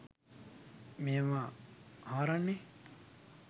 මේවා හාරන්නේ?